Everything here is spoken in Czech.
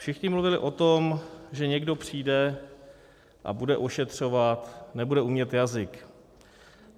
Všichni mluvili o tom, že někdo přijde a bude ošetřovat, nebude umět jazyk.